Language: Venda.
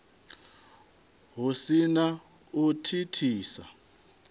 hu si na u thithisa